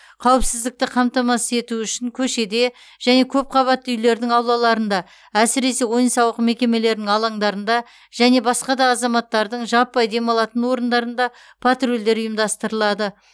қауіпсіздікті қамтамасыз ету үшін көшеде және көпқабатты үйлердің аулаларында әсіресе ойын сауық мекемелерінің алаңдарында және басқа да азаматтардың жаппай демалатын орындарында патрульдер ұйымдастырылады